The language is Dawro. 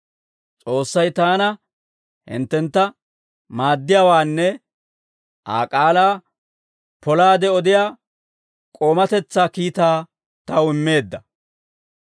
S'oossay taana hinttentta maaddiyaawaanne Aa k'aalaa polaade odiyaa k'oomatetsaa kiitaa taw immeedda.